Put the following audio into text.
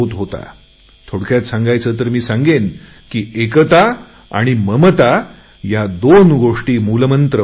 थोडक्यात सांगायचे तर मी सांगेन की एकता आणि ममता या दोन गोष्टी मूलमंत्र होत्या